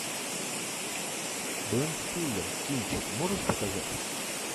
бен стиллер кинчик можешь показать